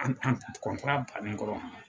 An an kɔntara bannen kɔrɔ